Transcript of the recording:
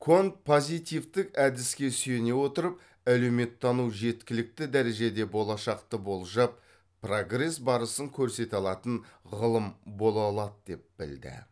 конт позитивтік әдіске сүйене отырып әлеуметтану жеткілікті дәрежеде болашақты болжап прогресс барысын көрсете алатын ғылым бола алады деп білді